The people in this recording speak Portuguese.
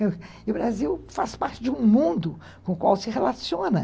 E o Brasil faz parte de um mundo com o qual se relaciona.